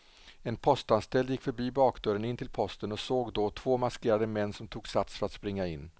En postanställd gick förbi bakdörren in till posten och såg då två maskerade män som tog sats för att springa in.